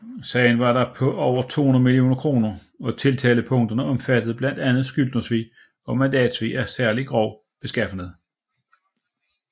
Sagen var da på over 200 millioner kroner og tiltalepunkterne omfattede blandt andet skyldnersvig og mandatsvig af særlig grov beskaffenhed